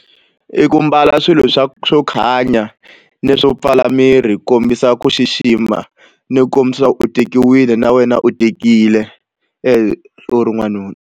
I ku mbala swilo swa swo khanya ni swo pfala miri ku kombisa ku xixima ni ku kombisa leswaku u tekiwile na wena u tekile u ri n'wanuna.